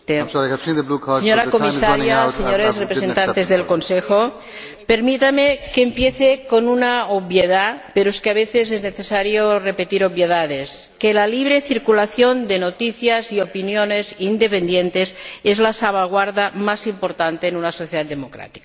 Señor Presidente, señora Comisaria, señores representantes del Consejo, permítanme que empiece con una obviedad, pero es que a veces es necesario repetir obviedades que la libre circulación de noticias y opiniones independientes es la salvaguardia más importante en una sociedad democrática.